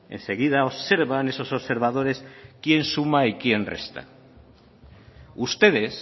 enseguida observan esos observadores quién suma y quién resta ustedes